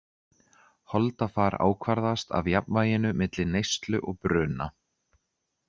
Holdafar ákvarðast af jafnvæginu milli neyslu og bruna.